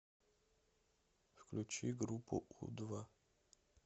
включи группу у два